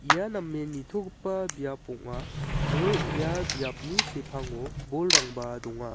ia namen nitogipa biap ong·a aro ia biapni sepango bolrangba donga.